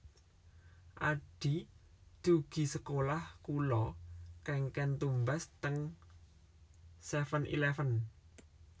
Adhi dugi sekolah kula kengken tumbas teng seven eleven